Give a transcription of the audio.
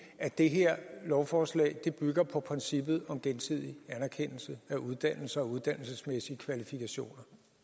at det her lovforslag bygger på princippet om gensidig anerkendelse af uddannelser og uddannelsesmæssige kvalifikationer